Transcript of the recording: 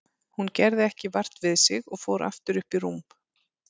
Hún gerði ekki vart við sig og fór aftur upp í rúm.